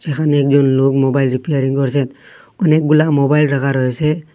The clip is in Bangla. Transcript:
এখানে একজন লোক মোবাইল রিপেয়ারিং করছেন অনেকগুলা মোবাইল রাখা রয়েসে ।